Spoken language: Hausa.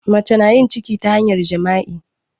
Mace na yin ciki ta hanyar jima'i.